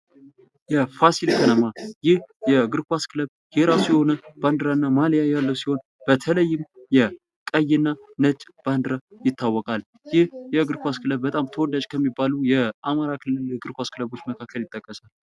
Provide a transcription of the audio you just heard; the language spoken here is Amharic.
የፋሲል ከነማ ይህ የእግር ኳስ ክለብ የራሱ የሆነ ባንዲራ እና ማልያ ያለው ሲሆን በተለይም የቀይ እና ነጭ ባንዲራ ይታወቃል። ይህ የእግር ኳስ ክለብ በጣም ተወዳጅ ከሚባሉ የአማራ ክልል እግር ኳስ ክለቦች መካከል ይጠቀሳል።